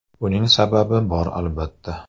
Buning sababi bor albatta.